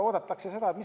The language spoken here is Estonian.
Tore!